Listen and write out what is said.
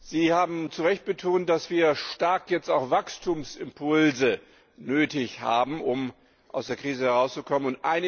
Sie haben zu Recht betont, dass wir jetzt auch Wachstumsimpulse sehr nötig haben, um aus der Krise herauszukommen.